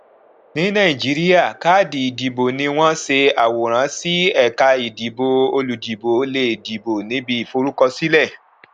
ní nàìjíríà káàdì ìdìbò ni wọn ṣe àwòrán sí ẹka ìdìbò olùdìbò lè dìbò níbi forúkọsílẹ